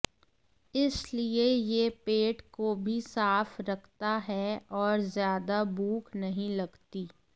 इसलिए यह पेट को भी साफ रखता है और ज्यादा भूख नहीं लगती